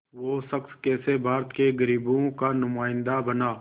वो शख़्स कैसे भारत के ग़रीबों का नुमाइंदा बना